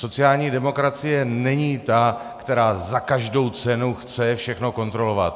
Sociální demokracie není ta, která za každou cenu chce všechno kontrolovat.